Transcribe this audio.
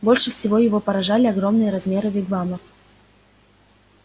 больше всего его поражали огромные размеры вигвамов